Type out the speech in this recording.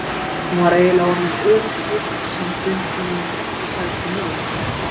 Hún var eiginlega orðin öryrki en samt vildi hún ekki sækja um örorkubætur.